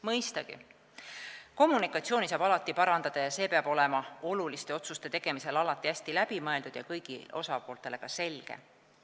Mõistagi, kommunikatsiooni saab alati parandada ja see peab olema oluliste otsuste tegemisel alati hästi läbimõeldud ja kõigile osapooltele selge.